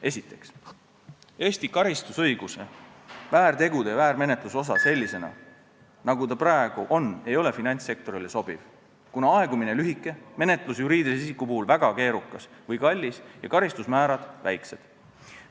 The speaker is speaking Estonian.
Esiteks, Eesti karistusõiguse väärtegude ja väärmenetluse osa sellisena, nagu ta praegu on, ei ole finantssektorile sobiv, kuna aegumise aeg on lühike, menetlus juriidilise isiku puhul väga keerukas või kallis ja karistusmäärad väiksed.